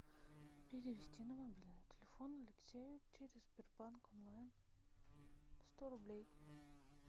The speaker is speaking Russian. перевести на мобильный телефон алексея через сбербанк онлайн сто рублей